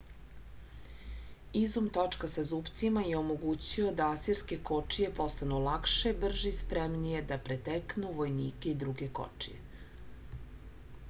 izum točka sa zupcima je omogućio da asirske kočije postanu lakše brže i spremnije da preteknu vojnike i druge kočije